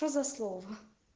что за слово